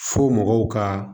Fo mɔgɔw ka